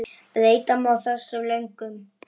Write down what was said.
Breyta má þessu með lögum